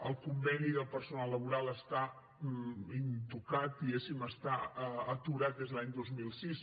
el conveni del personal laboral està intocat diguéssim està aturat des de l’any dos mil sis